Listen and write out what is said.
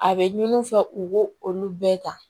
A bɛ ɲini u fɛ u b'o olu bɛɛ ta